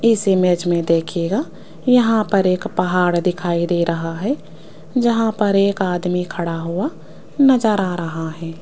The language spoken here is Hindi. इस इमेज में देखिएगा यहां पर एक पहाड़ दिखाई दे रहा है जहां पर एक आदमी खड़ा हुआ नजर आ रहा है।